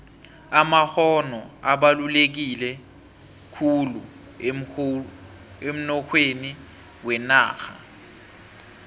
amakgono abaluleke khulu emnoyhweni wenarha